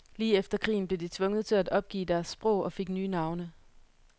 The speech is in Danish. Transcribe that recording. Lige efter krigen blev de tvunget til at opgive deres sprog og fik nye navne.